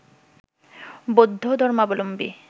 বৌদ্ধ ধর্মাবলম্বী